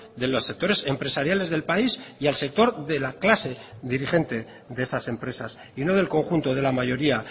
de los sectores empresariales del país y al sector de la clase dirigente de esas empresas y no del conjunto de la mayoría